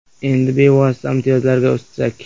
Endi bevosita imtiyozlarga o‘tsak.